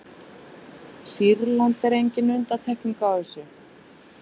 sýrland er engin undantekning á þessu